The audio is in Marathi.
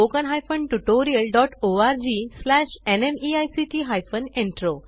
oscariitbacइन एंड spoken tutorialorgnmeict इंट्रो